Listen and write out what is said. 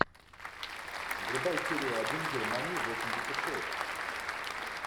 врубай серию один германии восемьдесят шесть